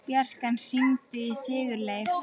Bjarkan, hringdu í Sigurleif.